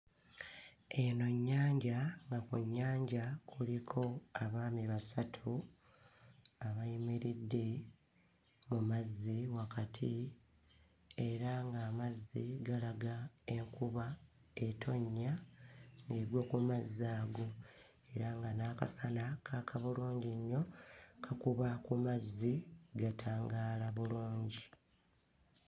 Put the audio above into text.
Eno nnyanja nga ku nnyanja kuliko abaami basatu abayimiridde mu mazzi wakati era ng'amazzi galaga enkuba etonnya, egwa ku mazzi ago era nga n'akasana kaaka bulungi nnyo, kakuba ku mazzi gatangaala balungi.